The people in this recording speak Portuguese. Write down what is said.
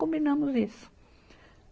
Combinamos isso.